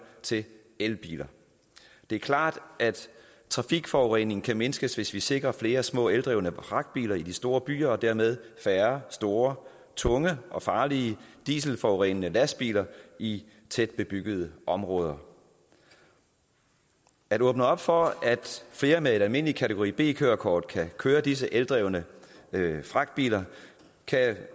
til elbiler det er klart at trafikforureningen kan mindskes hvis vi sikrer flere små eldrevne fragtbiler i de store byer og dermed færre store tunge og farlige dieselforurenende lastbiler i tæt bebyggede områder at åbne op for at flere med et almindeligt kategori b kørekort kan køre disse eldrevne fragtbiler kan